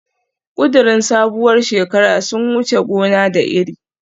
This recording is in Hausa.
Kudirin sabuwar shekara sun wuce gona da iri